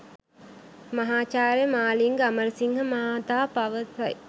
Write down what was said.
මහාචාර්ය මාලිංග අමරසිංහ මහතා පවසයි.